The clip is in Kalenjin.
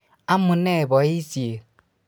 Amune boisiet